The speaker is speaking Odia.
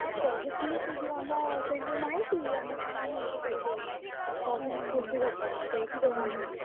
ସେ କହୁଥିଲେ ସେ ଯୋଉ ଆମ ସେ ଯୋଉ ନାହିଁ କି ଆମ town hall ଛକରେ ଯୋଉ ସଂସ୍କୃତି ଭବନ ସେଇଠି ହବ ବୋଲି ।